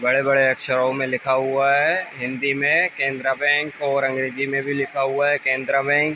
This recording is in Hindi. बड़े-बड़े अक्षरों में लिखा हुआ है हिंदी में केंद्रा बैंक और अंग्रेजी में भी लिखा हुआ है केंद्रा बैंक ।